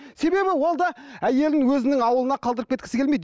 себебі ол да әйелін өзінің ауылына қалдырып кеткісі келмейді